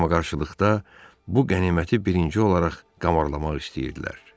Qarmaqarışıqlıqda bu qəniməti birinci olaraq qarmalamaq istəyirdilər.